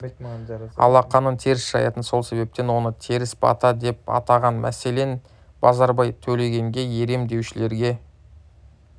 алақанын теріс жаятын сол себептен оны теріс бата деп атаған мәселен базарбай төлегенге ерем деушілерге